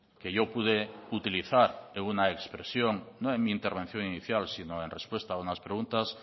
que yo pude utilizar en una expresión no en mi intervención inicial sino en respuesta a unas preguntas